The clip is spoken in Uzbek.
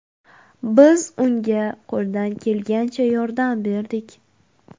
Biz unga qo‘ldan kelgancha yordam berdik.